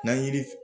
N'an yir